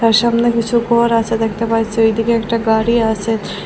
তার সামনে কিছু ঘর আছে দেখতে পাইছি ওইদিকে একটা গাড়ি আছে।